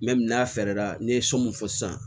n'a fɛɛrɛ la n'i ye so mun fɔ sisan